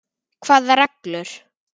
Hvaða reglur?